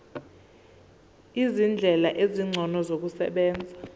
izindlela ezingcono zokusebenza